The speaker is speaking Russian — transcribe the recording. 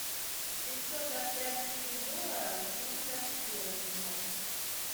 семьсот австралийских долларов в фунтах стерлингов